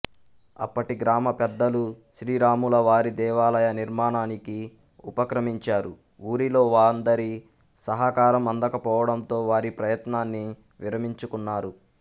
అప్పటి గ్రామ పెద్దలు శ్రీరాములవారి దేవాలయ నిర్మాణానికి ఉపక్రమించారు ఊరిలో వాందరి సహకారం అందకపొవడంతొ వారి ప్రయత్నాన్ని విరమించుకున్నారు